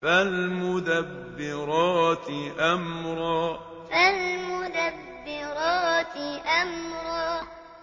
فَالْمُدَبِّرَاتِ أَمْرًا فَالْمُدَبِّرَاتِ أَمْرًا